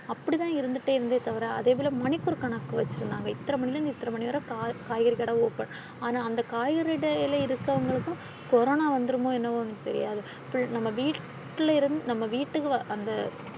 அப்படித்தான் இருந்துட்டே இருந்ததே தவிர அதேபோல மணிக்கு ஒரு கணக்கு வச்சிருந்தாங்க. இத்தன மணியில இருந்து இத்தனை மணிவரை ~ காய் ~ காய்கறிக்கடை open ஆனா அந்த காய்கறி கடையில இருக்கவங்களுக்கும் கொரோனா வந்திடுமோ என்னமோ தெரியாது. ~ நம்ம வீட்ல இருந்து நம்ம வீட்டுக்கு ~ வர அந்த.